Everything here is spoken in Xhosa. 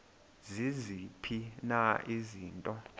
ziziphi na izinto